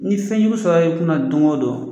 Ni fɛnjugu sɔrɔ i kunna dongodon don.